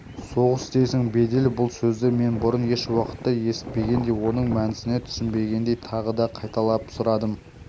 соғыс дейсің бедеп бұл сөзді мен бұрын еш уақытта есітпегендей оның мәнісіне түсінбегендей тағы да қайталап сұрадым